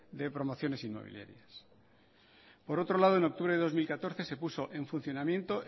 de promociones inmobiliarias por otro lado en octubre de dos mil catorce se puso en funcionamiento